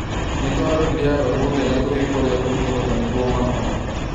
Nĩtwarorire arwaru othe na tũgĩka ũrĩa tũngĩhota niguo mahone